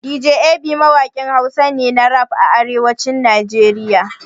Dj Ab mawaƙin Hausa ne na rap a arewacin Najeriya.